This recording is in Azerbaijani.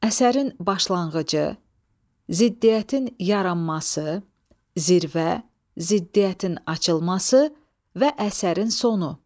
Əsərin başlanğıcı, ziddiyyətin yaranması, zirvə, ziddiyyətin açılması və əsərin sonu.